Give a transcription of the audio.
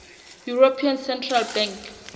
european central bank